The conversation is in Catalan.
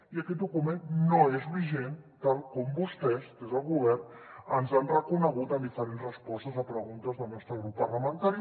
i aquest document no és vigent tal com vostès des del govern ens han reconegut en diferents respostes a preguntes del nostre grup parlamentari